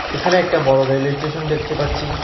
এখানে একটা বড় রেল স্টেশন দেখতে পাচ্ছি।